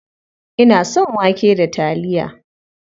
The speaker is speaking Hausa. Ina son wake da taliya.